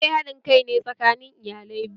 Aure haɗin kai ne tsakanin iyalai biyu